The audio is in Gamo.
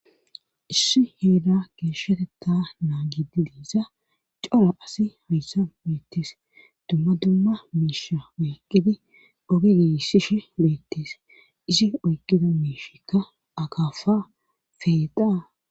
Issi heeda geeshsheteta naa gidi diiza cara asi hayssa beettees dumma dumma miisha oyqqidi oge giissishe beettes isi oyqqida miishikka akafa feedaa.